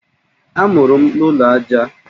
Amụrụ m n'ụlọ aja.